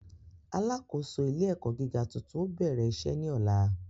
Alákòóso ilé ẹ̀kọ́ gíga tuntun ó bẹ̀rẹ̀ iṣẹ́ ní ọ̀la